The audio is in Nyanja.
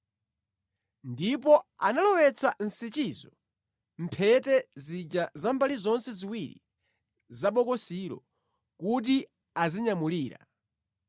Ndipo analowetsa nsichizo mʼmphete zija za mbali zonse ziwiri za bokosilo kuti azinyamulira.